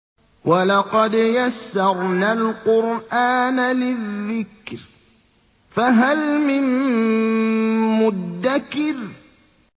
وَلَقَدْ يَسَّرْنَا الْقُرْآنَ لِلذِّكْرِ فَهَلْ مِن مُّدَّكِرٍ